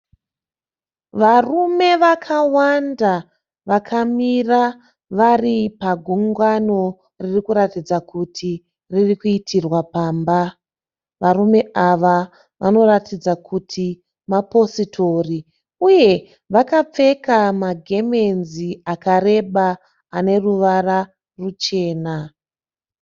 Varume vakawanda vakamira vari pagungano riri kuratidza kuti riri kuitirwa pamba. Varume ava vanoratidza kuti mapositori. Uye vakapfeka magemenzi akareba ane ruvara ruchena.